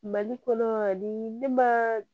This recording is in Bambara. Mali kɔnɔ di ne ma